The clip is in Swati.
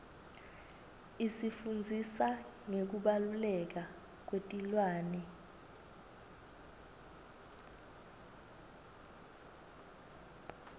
isifundzisa ngekubaluleka kwetilwane